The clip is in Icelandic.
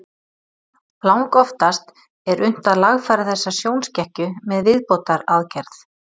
Langoftast er unnt að lagfæra þessa sjónskekkju með viðbótaraðgerð.